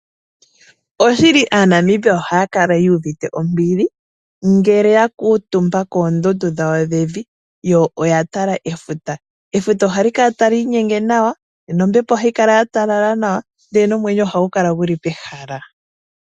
Oshili aaNamibia ohaya kala yuuvite ombili. Ngele ya kuutumba koondundu dhawo dhevi. Yo oya tala efuta. Efuta ohali kala tali inyenge nawa nombepo ohayi kala ya talala nawa ndele nomwenyo ohagu kala guli pehala.